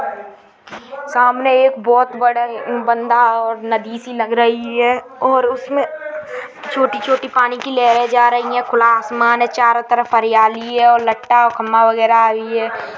सामने एक बहुत बडी नदी सी लग रही है और उसमें छोटी छोटी पानी की लहरें जा रही है खुला आसमान है चारों तरफ हरियाली है और लटा और खंभा वगेरा --